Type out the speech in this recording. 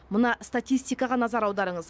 мына статистикаға назар аударыңыз